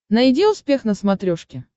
найди успех на смотрешке